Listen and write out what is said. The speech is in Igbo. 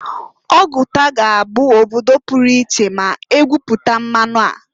Oguta ga -abụ obodo puru iche ma egwuputa mmanụ a.